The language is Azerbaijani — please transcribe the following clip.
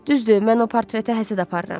Düzdür, mən o portretə həsəd aparıram.